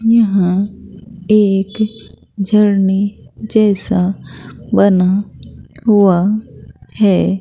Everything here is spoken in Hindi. यहां एक झरने जैसा बना हुआ है।